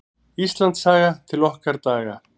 Íslandssaga: til okkar daga.